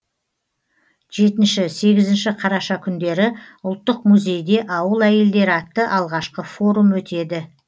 жетінші сегізінші қараша күндері ұлттық музейде ауыл әйелдері атты алғашқы форум өтеді